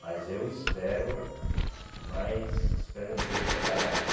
Mas eu espero, mas espero um dia eu chegar lá, né?